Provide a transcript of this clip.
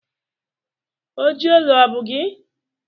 Oji olu ọ bụ gị?